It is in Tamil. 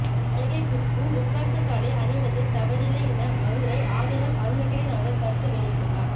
நடிகை குஷ்பு ருத்திராட்ச தாலி அணிவதில் தவறில்லை என மதுரை ஆதீனம் அருணகிரிநாதர் கருத்து வெளியிட்டுள்ளார